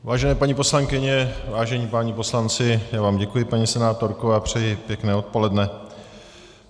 Vážené paní poslankyně, vážení páni poslanci - já vám děkuji, paní senátorko, a přeji pěkné odpoledne.